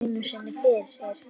Ekki einu sinni fyrir